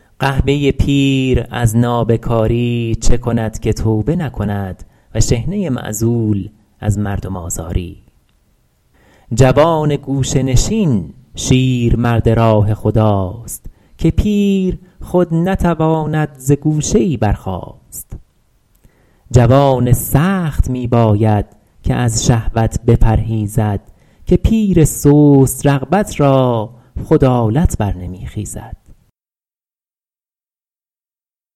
قحبه پیر از نابکاری چه کند که توبه نکند و شحنه معزول از مردم آزاری جوان گوشه نشین شیرمرد راه خداست که پیر خود نتواند ز گوشه ای برخاست جوان سخت می باید که از شهوت بپرهیزد که پیر سست رغبت را خود آلت بر نمی خیزد